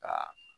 Ka